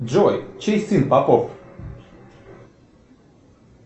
джой чей сын попов